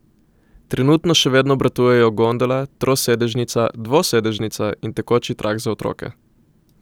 Trenutno še vedno obratujejo gondola, trosedežnica, dvosedežnica in tekoči trak za otroke.